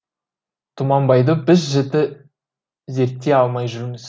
тұманбайды біз жіті зерттей алмай жүрміз